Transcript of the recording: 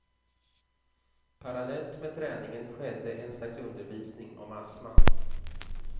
Parallellt med träningen skedde en slags undervisning om astman.